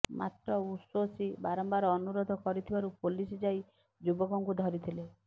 ମାତ୍ର ଉଶୋସି ବାରମ୍ବାର ଅନୁରୋଧ କରିଥିବାରୁ ପୋଲିସ ଯାଇ ଯୁବକଙ୍କୁ ଧରିଥିଲେ